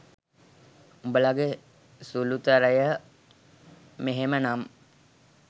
උඔලගෙ සුලුතරය මෙහෙම නම්